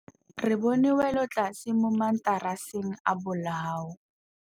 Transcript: Re bone wêlôtlasê mo mataraseng a bolaô.